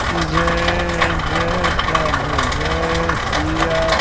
जय जय प्रभु जय सिया--